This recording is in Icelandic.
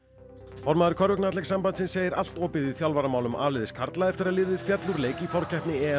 formaður segir allt opið í þjálfaramálum a liðs karla eftir að liðið féll úr leik í forkeppni